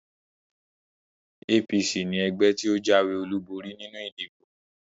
APC ni ẹgbẹ́ tí ó jáwé olúborí nínú ìdìbò